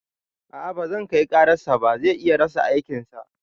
A'a bazan kai karar sa ba, zai iya rasa aikin sa